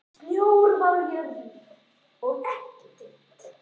Snjór var á jörð og ekki dimmt.